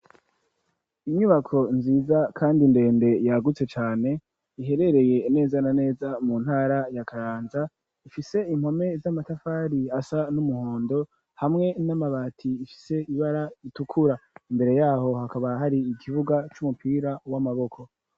Inyubako nziza, kandi ndende, yagutse cane; iherereye, neza na neza, mu ntara ya Kayanza; ifise impome z'amatafari, asa n'umuhondo, hamwe n'amabati, ifise ibara ritukura; imbere y'aho, hakaba hari ikibuga, c'umupira w'amaboko.